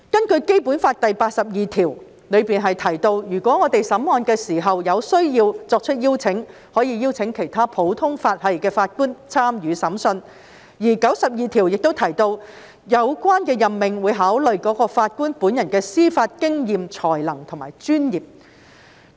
《基本法》第八十二條提到，如果在審案時有需要，是可以邀請其他普通法適用地區的法官參與審判，而第九十二條亦提到，有關任命會考慮該法官本人的司法經驗、才能及專業。